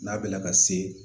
N'a bɛ na ka se